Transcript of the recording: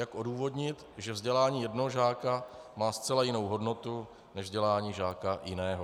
Jak odůvodnit, že vzdělání jednoho žáka má zcela jinou hodnotu než vzdělání žáka jiného?